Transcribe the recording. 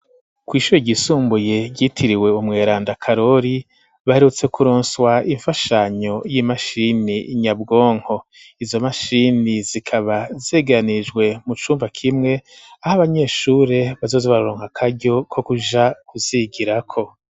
Kw'ishure ryisumbuye ryitiriwe umweranda karori baherutse kuronswa imfashanyo y'imashini nyabwonko izo mashini zikaba zegeranijwe mu cumba kimwe aho abanyeshure bazoza bararonko akaryo ko kuja kuzigirako.